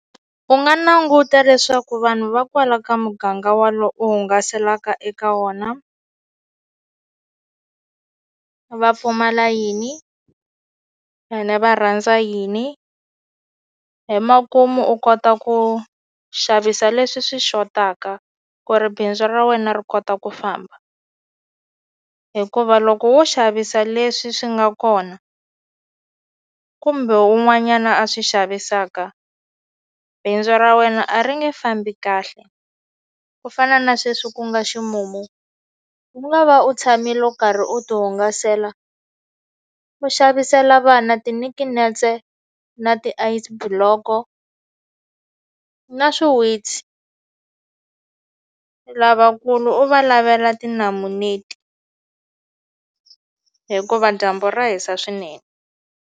U nga languta leswaku vanhu va kwala ka muganga u hungaselaka eka wona va pfumala yini ene va rhandza yini hi makumu u kota ku xavisa leswi swi xotaka ku ri bindzu ra wena ri kota ku famba hikuva loko wo xavisa leswi swi nga kona kumbe un'wanyana a swi xavisaka bindzu ra wena a ri nge fambi kahle ku fana na sweswi ku nga ximumu u nga va u tshamile u karhi u ti hungasela u xavisela vana tinikinetse na ti Ice block-o na swiwitsi lavakulu u va lavela tinamuneti leti hikuva dyambu ra hisa swinene.